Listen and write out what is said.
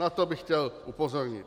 Na to bych chtěl upozornit.